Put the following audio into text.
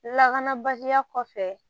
Lakanabaliya kɔfɛ